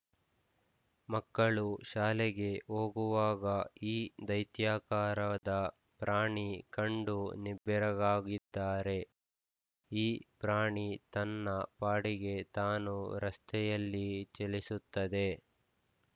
ಮಕ್ಕಳು ಶಾಲೆಗೆ ಹೋಗುವಾಗ ಈ ದೈತ್ಯಾಕಾರದ ಪ್ರಾಣಿ ಕಂಡು ನಿಬ್ಬೆರಗಾಗಿದ್ದಾರೆ ಈ ಪ್ರಾಣಿ ತನ್ನ ಪಾಡಿಗೆ ತಾನು ರಸ್ತೆಯಲ್ಲಿ ಚಲಿಸುತ್ತದೆ